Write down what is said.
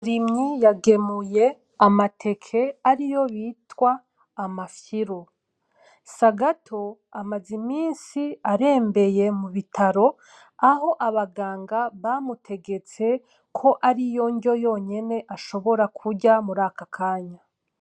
Rimyi yagemuye amateke ariyo bitwa amafyiru. Sagato amaze imisi arembeye mu bitaro aho abaganga bamutegetse ko ariyo nryo yonyene ashobora kurya muraka kanya.